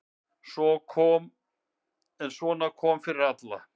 En svona kom fyrir alla.